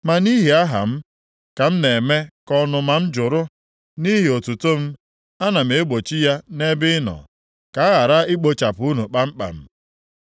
Ma nʼihi aha m, ka m na-eme ka ọnụma m jụrụ nʼihi otuto m, a na m egbochi ya nʼebe ị nọ, ka a ghara ikpochapụ unu kpamkpam.